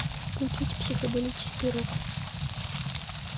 включить психоделический рок